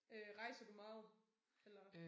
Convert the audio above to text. Øh rejser du meget eller